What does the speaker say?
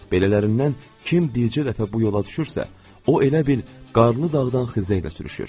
Belələrindən kim dilcə dəfə bu yolla düşürsə, o elə bil qarnı dağdan xizəyə sürüşür.